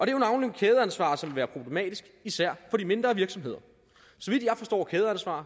er jo navnlig kædeansvar som vil være problematisk især for de mindre virksomheder